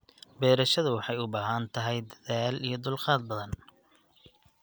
Beerashadu waxay u baahan tahay dadaal iyo dulqaad badan.